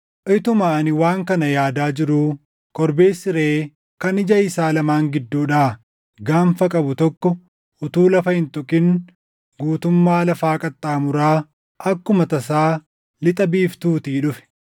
Utuma ani waan kana yaadaa jiruu korbeessi reʼee kan ija isaa lamaan gidduudhaa gaanfa qabu tokko utuu lafa hin tuqin guutummaa lafaa qaxxaamuraa akkuma tasaa lixa biiftuutii dhufe.